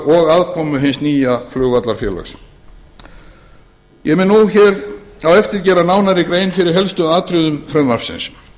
og aðkomu hins nýja flugvallarfélags ég mun nú hér á eftir gera nánari grein fyrir helstu atriðum frumvarpsins